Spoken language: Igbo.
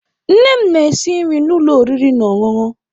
Nne m na-esi nri na ụlọ oriri na ọṅụṅụ.